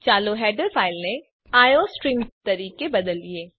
ચાલો હેડર ફાઇલને આઇઓસ્ટ્રીમ તરીકે બદલીએ